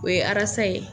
O ye arasa ye